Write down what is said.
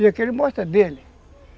E aqui ele mostra a dele.